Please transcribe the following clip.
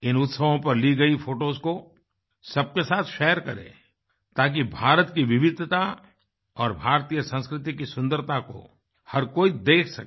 इन उत्सवों पर ली गई फोटोस को सबके साथ शेयर करें ताकि भारत की विविधता और भारतीय संस्कृति की सुन्दरता को हर कोई देख सके